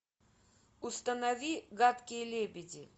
установи гадкие лебеди